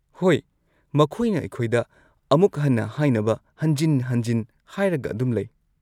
ꯍꯣꯏ, ꯃꯈꯣꯏꯅ ꯑꯩꯈꯣꯏꯗ ꯑꯃꯨꯛ ꯍꯟꯅ ꯍꯥꯏꯅꯕ ꯍꯟꯖꯤꯟ-ꯍꯟꯖꯤꯟ ꯍꯥꯏꯔꯒ ꯑꯗꯨꯝ ꯂꯩ꯫